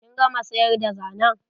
Kin gama sayar da zanen?